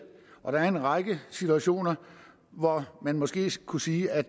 og der er en række situationer hvor man måske kunne sige at